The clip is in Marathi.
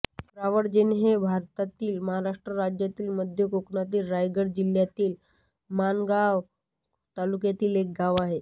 रावळजे हे भारतातील महाराष्ट्र राज्यातील मध्य कोकणातील रायगड जिल्ह्यातील माणगाव तालुक्यातील एक गाव आहे